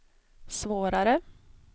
svårare